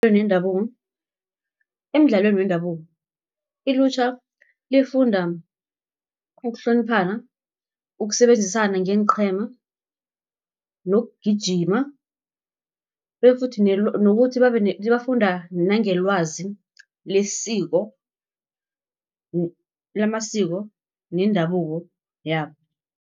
Emidlalweni wendabuko, ilutjha lifunda ukuhloniphana, ukusebenzisana ngeenqhema, nokugijima, bafunda nange lwazi lesiko, lamasiko nendabuko yabo.